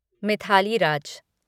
Mithali Raj